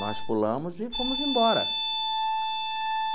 Nós pulamos e fomos embora.